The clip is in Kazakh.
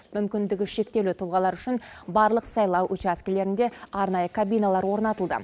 мүмкіндігі шектеулі тұлғалар үшін барлық сайлау учаскілерінде арнайы кабиналар орнатылды